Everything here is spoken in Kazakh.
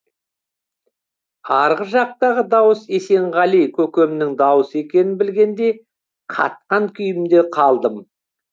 арғы жақтағы дауыс есенғали көкемнің дауысы екенін білгенде қатқан күйімде қалдым